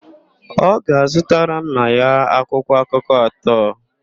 Ọ ga-azụtara nna ya akwụkwọakụkọ atọ.